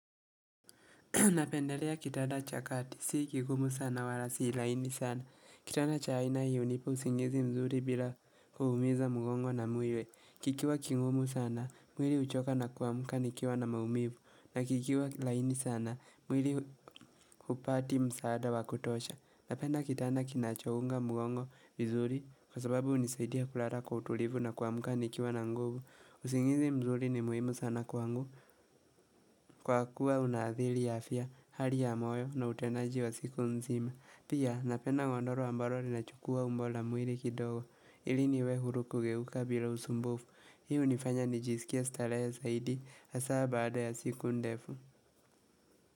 Napendelea kitanda cha kati, si kigumu sana wala si laini sana. Kitanda cha aina hio hunipa usingizi mzuri bila kuhumiza mugongo na mwili. Kikiwa kigumu sana, mwili huchoka na kuamuka nikiwa na maumivu. Na kikiwa laini sana, mwili upati msaada wakutosha. Napenda kitanda kinachounga mgongo vizuri kwa sababu hunisaidia kulala kwa utulivu na kuamuka nikiwa na nguvu. Usingizi mzuri ni muhimu sana kwangu. Kwa kuwa unaadhili ya afya, hali ya moyo na utenaji wa siku nzima. Pia napena wandoro ambaro lina chukua umbo la muiri kidogo. Ili niwe huru kugeuka bila usumbufu. Hii hunifanya nijisikia stalehe zaidi hasa baada ya siku ndefu.